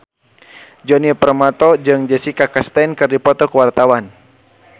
Djoni Permato jeung Jessica Chastain keur dipoto ku wartawan